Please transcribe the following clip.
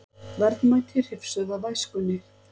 Verðmæti hrifsuð af æskunni